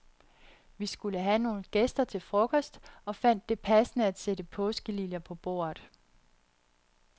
Vi skulle have nogle gæster til frokost, og fandt det passende at sætte påskeliljer på bordet.